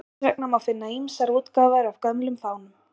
Þess vegna má finna ýmsar útgáfur af gömlum fánum.